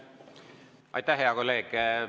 Aitäh, hea kolleeg!